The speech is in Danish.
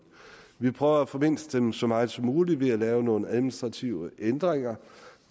vi prøver at formindske dem så meget som muligt ved at lave nogle administrative ændringer